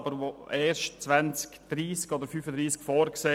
Diese ist aber erst für das Jahr 2030 oder 2035 vorgesehen.